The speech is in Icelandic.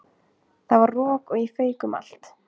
Það var rok og ég fauk um allt.